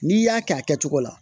N'i y'a kɛ a kɛcogo la